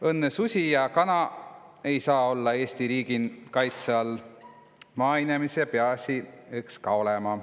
Õnnõ susi ja kana' saa-õi olla Eesti riigin kaitsõ all – maainemise piasi õks ka olõma.